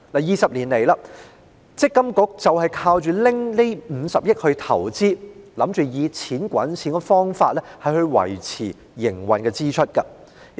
二十多年來，積金局靠着這50億元進行投資，想以"錢滾錢"的方法應付營運支出。